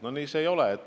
No nii see ei ole.